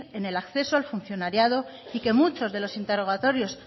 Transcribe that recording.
en el acceso al funcionariado y que muchos de los interrogatorios